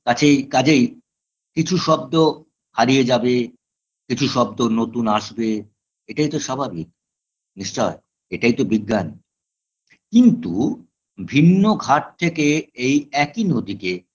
কাছেই কাজেই কিছু শব্দ হারিয়ে যাবে কিছু শব্দ নতুন আসবে এটাই তো স্বাভাবিক নিশ্চয়ই এটাই তো বিজ্ঞান কিন্তু ভিন্ন ঘাট থেকে এই একই নদীকে